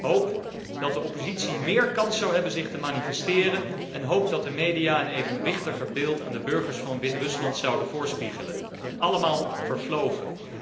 Hoop dat de oppositie meer kans zou hebben zich te manifesteren en hoop dat de media een evenwichtiger beeld aan de burgers van Wit Rusland zouden voorspiegelen. Allemaal vervlogen.